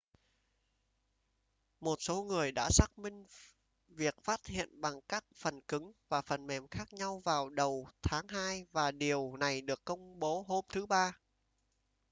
một số người đã xác minh việc phát hiện bằng các phần cứng và phần mềm khác nhau vào đầu tháng hai và điều này được công bố hôm thứ ba